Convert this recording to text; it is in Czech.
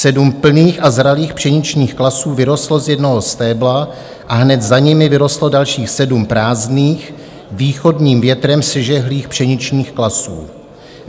Sedm plných a zralých pšeničných klasů vyrostlo z jednoho stébla a hned za nimi vyrostlo dalších sedm prázdných, východním větrem sežehlých pšeničných klasů.